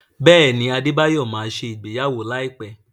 Bẹẹni, adebayọ má ṣe ìgbéyàwó láìpé